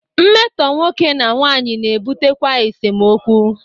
Mmetọ nwoke na nwanyị na ebutekwa esemokwu.